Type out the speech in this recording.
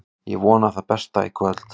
Ég vona það besta í kvöld.